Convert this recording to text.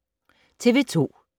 TV 2